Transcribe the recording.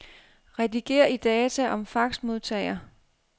Rediger i data om faxmodtager.